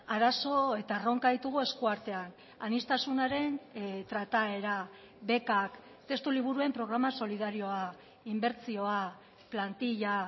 arazo eta erronka ditugu esku artean aniztasunaren trataera bekak testuliburuen programa solidarioa inbertsioa plantilla